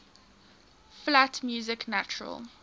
flat music natural